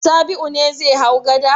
Sabi'u ne zai hau gada.